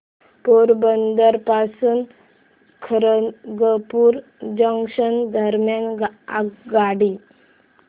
पोरबंदर पासून खरगपूर जंक्शन दरम्यान आगगाडी